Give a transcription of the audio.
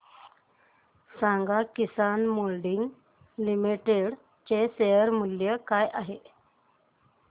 सांगा Kisan moulding limited चे share मूल्य काय आहे